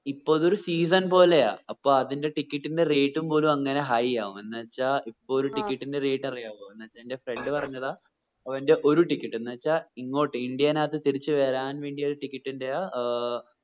ഇപ്പോ അതൊരു season പോലെയാ അപ്പോ അതിന്റെ ticket ന്റെ rate ഉം പോലും അങ്ങനെ high ആകും എന്ന് വെച്ച ഇപ്പോ ഒരു ticket ന്റെ rate അറിയാവൊ എന്ന് വെച്ച എന്റെ ഒരു friend പറഞ്ഞതാ അവന്റെ ഒരു ticket എന്നു വെച്ച ഇങ്ങോട്ട് ഇന്ദ്യയിനത്ത് തിരിച്ച് വരാൻ ഒരു ticket ഏർ